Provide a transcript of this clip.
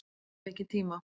Hef ekki tíma